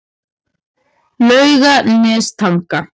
Laugarnestanga